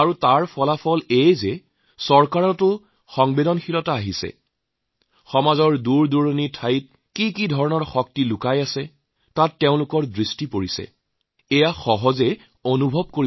তাৰ ফলত যি হৈছে সেইটো হল চৰকাৰৰো সংবেদনশীলতা সমাজৰ দূৰসুদূৰত কিমান যে শক্তি আছে তাৰ প্ৰতি তেওঁলোকৰ মনোযোগ দিয়াৰ এক সহজ ভাৱনা প্ৰস্তুত হৈছে